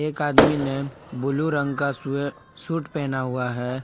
एक आदमी ने ब्ल्यू रंग का स्वे सूट पहना हुआ है।